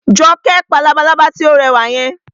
Jọkẹ́ pa labalábá tí ó rẹwà yẹn